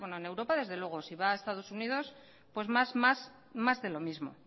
bueno en europa desde luego si va a estados unidos pues más de lo mismo